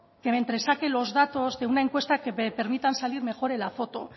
que me entresaque los datos de una encuesta que permitan salir mejor en la foto